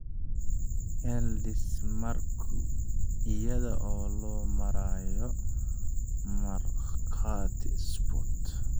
(El Desmarque, iyada oo loo marayo Markhaati Sport.